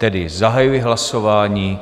Tedy zahajuji hlasování.